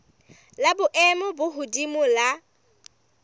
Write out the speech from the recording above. la boemo bo hodimo la